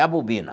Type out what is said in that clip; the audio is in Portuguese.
É a bobina.